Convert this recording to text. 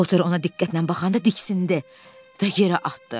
Potur ona diqqətlə baxanda diksindi və yerə atdı.